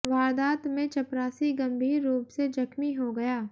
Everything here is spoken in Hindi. वारदात में चपरासी गंभीर रूप से जख्मी हो गया